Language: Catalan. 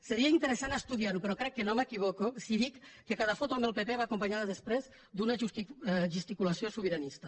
seria interessant estudiar ho però crec que no m’equivoco si dic que cada foto amb el pp va acompanyada després d’una gesticulació sobiranista